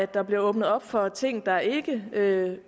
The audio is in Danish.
der bliver åbnet op for ting som der ikke